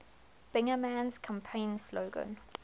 bingaman's campaign slogan